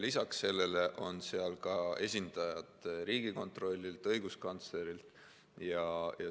Lisaks sellele on seal esindajad Riigikontrollist ja õiguskantsleri juurest.